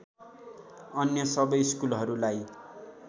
अन्य सबै स्कुलहरूलाई